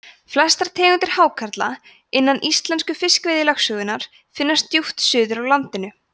flestar tegundir hákarla innan íslensku fiskveiðilögsögunnar finnast djúpt suður af landinu